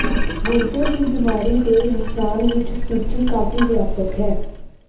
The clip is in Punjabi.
ਗੁਰਦੇ ਦੀ ਬਿਮਾਰੀ ਦੇ ਇਨਸਾਨ ਵਿੱਚ ਸੂਚੀ ਕਾਫ਼ੀ ਵਿਆਪਕ ਹੈ